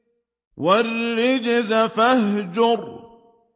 وَالرُّجْزَ فَاهْجُرْ